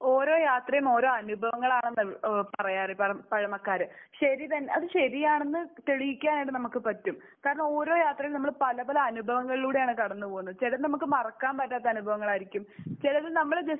ഓരോ യാത്രയും ഓരോ അനുഭവങ്ങളാണ് നൽ ഏഹ് പറയാറ് പഴമക്കാര്. ശരി തന്നെ അത് ശരിയാണെന്ന് തെളിയിക്കാനായിട്ട് നമുക്ക് പറ്റും. കാരണം ഓരോ യാത്രയും നമ്മൾ പല പല അനുഭവങ്ങളിലൂടെയാണ് കടന്ന് പോകുന്നത്. ചിലത് നമുക്ക് മറക്കാൻ പറ്റാത്ത അനുഭവങ്ങളായിരിക്കും. ചിലത് നമ്മൾ ജസ്റ്റ്